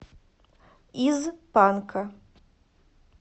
из панка